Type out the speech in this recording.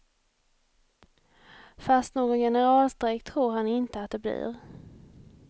Fast någon generalstrejk tror han inte att det blir.